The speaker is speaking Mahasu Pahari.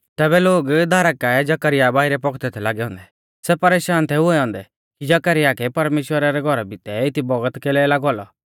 तैबै लोग दारा काऐ जकरयाह बाइरै पौखदै थै लागै औन्दै सै परेशान थै हुऐ औन्दै कि जकरयाह कै परमेश्‍वरा रै घौरा भितै एती बौगत कैलै लागौ औलौ